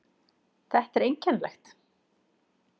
Þetta er einkennilegt.